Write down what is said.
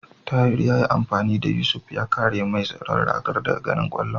Tahir yayi amfani da Yusuf ya kare mai tsaron ragar daga ganin kwallon.